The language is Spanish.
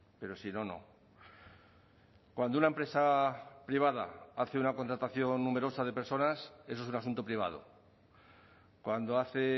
pero si no no cuando una empresa privada hace una contratación numerosa de personas eso es un asunto privado cuando hace